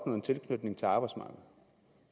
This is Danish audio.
en tilknytning til arbejdsmarkedet